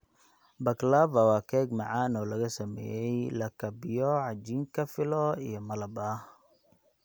Baklava waa keeg macaan oo laga sameeyay lakabyo cajiinka filo iyo malab ah.